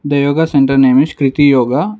The yoga center name is kriti yoga.